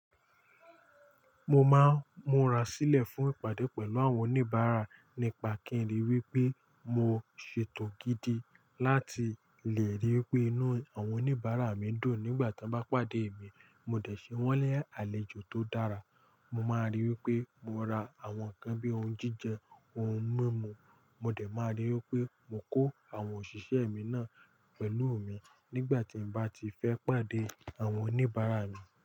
Mo máa ń múra sílẹ̀ fún ìpàdé pẹ̀lú àwọn oníbàárà nípa kí n ríi wí pé mo ṣètò gidi láti lè ríi wí pé inú àwọn oníbàárà mi dùn nígbà tí wọ́n bá pàdé mi. Mo dẹ̀ ṣe wọ́n ni àlejò tó dára. Mo máa ríi wí pé mo ra àwọn nǹkan bí i oúnjíjẹ, ohun mímu. Mo dẹ̀ máa ríi wí pé mo kó àwọn òṣìṣẹ́ mi náà pẹ̀lú mi nígbà tí n bá ti fẹ́ pàdé àwọn oníbàárà mi.